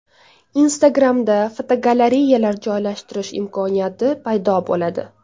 Instagram’da fotogalereyalar joylashtirish imkoniyati paydo bo‘ladi.